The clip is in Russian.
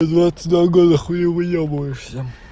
двадцать два года хули выёбываешся